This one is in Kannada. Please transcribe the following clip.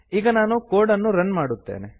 ಈಗ ನಾನು ಕೋಡ್ ಅನ್ನು ರನ್ ಮಾಡುತ್ತೇನೆ